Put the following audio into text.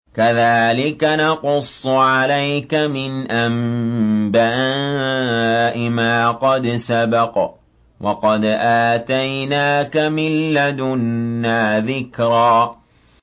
كَذَٰلِكَ نَقُصُّ عَلَيْكَ مِنْ أَنبَاءِ مَا قَدْ سَبَقَ ۚ وَقَدْ آتَيْنَاكَ مِن لَّدُنَّا ذِكْرًا